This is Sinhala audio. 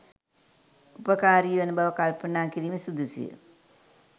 උපකාරී වන බව කල්පනා කිරීම සුදුසුය.